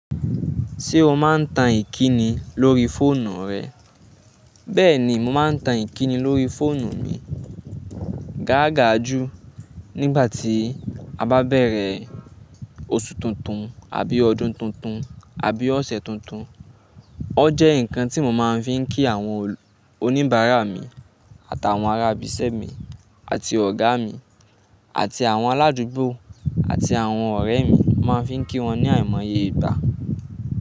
Ṣé o máa ń tan ìkíni lórí fóònù rẹ? Bẹ́ẹ̀ ni, mo máa ń tan ìkíni lórí fóònù mi gàágàá jù nígbà tí a bá bẹ̀rẹ̀ oṣù tuntun àbí ọdún tuntun àbí ọ̀sẹ̀ tuntun. O jẹ́ nǹkan tí mo máa fi ń kí àwọn oníbàárà mi àtàwọn ará ibisẹ́ mi àti ọ̀gá mi àti àwọn aládùúgbò àti àwọn ọ̀rẹ́ mi, mo máa fi ń kí wọn ní àìmọye ìgbá.